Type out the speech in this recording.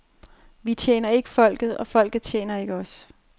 Vi tjener ikke folket, og folket tjener ikke os.